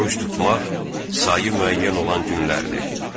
Oruc tutmaq sayı müəyyən olan günlərdir.